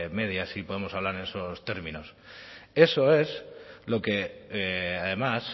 media si podemos hablar en esos términos eso es lo que además